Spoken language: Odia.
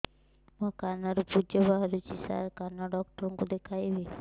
ମୋ କାନରୁ ପୁଜ ବାହାରୁଛି ସାର କାନ ଡକ୍ଟର କୁ ଦେଖାଇବି